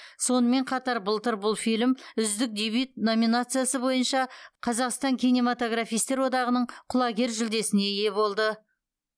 сонымен қатар былтыр бұл фильм үздік дебют номинациясы бойынша қазақстан кинематографистер одағының құлагер жүлдесіне ие болды